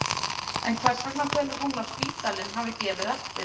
En hvers vegna telur hún að spítalinn hafi gefið eftir?